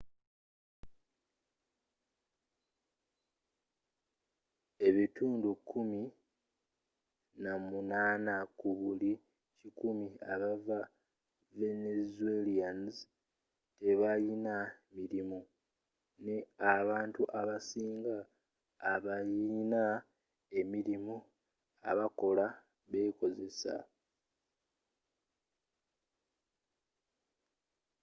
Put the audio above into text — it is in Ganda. ebitundu kumi na munana ku buli kikumi aba venezuelans tebayina mirimu, ne abantu abasinga abayina emirirmu abakola be kozesa